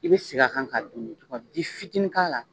I bɛ segin a kan ka dun i bɛ fitinin k'a la.